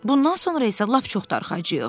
Bundan sonra isə lap çox darıxacağıq.